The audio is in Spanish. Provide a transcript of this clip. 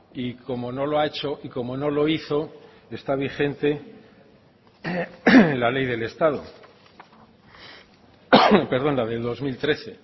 y como no lo ha hecho y como no lo hizo está vigente la ley del estado perdón la del dos mil trece